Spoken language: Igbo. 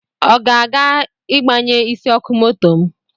Ọ ga-aga igbanye isi ọkụ moto m